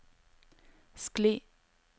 skli